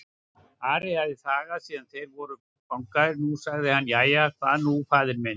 Ari hafði þagað síðan þeir voru fangaðir, nú sagði hann:-Jæja, hvað nú faðir minn?